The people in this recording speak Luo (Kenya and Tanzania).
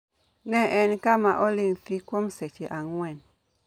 Ne en kama oling' thi kuom seche ang'wen.